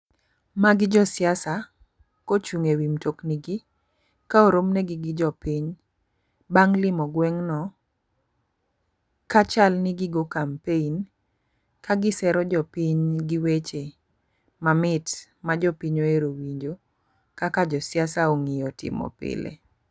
Magi josiasa, kochung' ewi mtokni gii, ka oromnegi gi jopiny, bang' limo gweng'no ka chal ni gigo campaign ka gisero jopiny gi weche mamit ma jopiny ohero winjo kaka josiasa ong'iyo timo pile